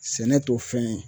Sɛnɛ t'o fɛn ye